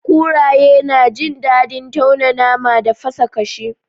Kuraye na jin dadin tauna nama da fasa kashi.